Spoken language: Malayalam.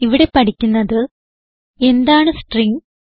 ഇവിടെ പഠിക്കുന്നത് എന്താണ് സ്ട്രിംഗ്